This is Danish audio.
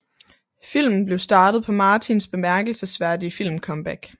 Filmen blev starten på Martins bemærkelsesværdige filmcomeback